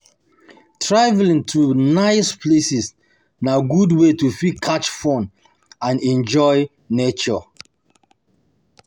Travelling to nice places na good way to fit catch fun and enjoy nature